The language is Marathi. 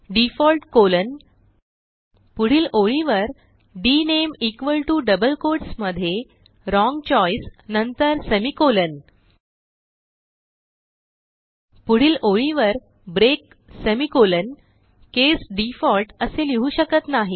डिफॉल्ट कॉलन पुढील ओळीवर डीएनएमई इक्वॉल टीओ डबल कोट्स मध्ये व्राँग चोइस नंतर सेमिकोलॉन पुढील ओळीवर ब्रेक सेमिकोलॉन केस डिफॉल्ट असे लिहू शकत नाही